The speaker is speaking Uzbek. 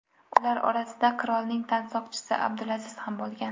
Ular orasida qirolning tansoqchisi Abdulaziz ham bo‘lgan.